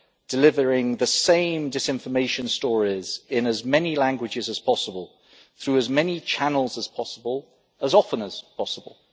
delivering the same disinformation stories in as many languages as possible, through as many channels as possible, as often as possible.